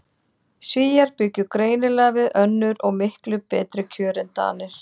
Svíar bjuggu greinilega við önnur og miklu betri kjör en Danir.